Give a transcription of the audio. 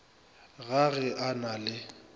ga ge a na le